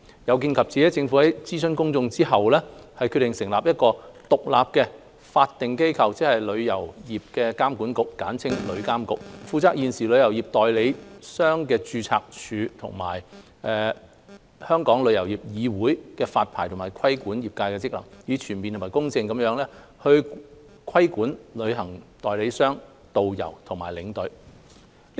有見及此，政府於諮詢公眾後，決定成立一個獨立的法定機構，即旅遊業監管局，負責現時旅行代理商註冊處和香港旅遊業議會的發牌和規管業界職能，以全面及公正地規管旅行代理商、導遊和領隊。